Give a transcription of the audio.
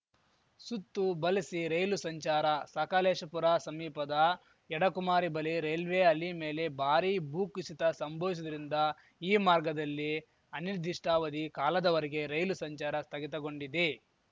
ಸುತ್ತು ಬಲಸಿ ರೈಲು ಸಂಚಾರ ಸಕಲೇಶಪುರ ಸಮೀಪದ ಯಡಕುಮರಿ ಬಲಿ ರೈಲ್ವೆ ಹಲಿ ಮೇಲೆ ಭಾರಿ ಭೂಕುಸಿತ ಸಂಭವಿಸಿರುವುದರಿಂದ ಈ ಮಾರ್ಗದಲ್ಲಿ ಅನಿರ್ದಿಷ್ಟಾವಧಿ ಕಾಲದವರೆಗೆ ರೈಲು ಸಂಚಾರ ಸ್ಥಗಿತಗೊಂಡಿದೆ